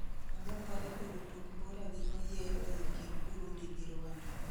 olokore bedo tuk mbura gi oyieyo ei kind Burundi gi Rwanda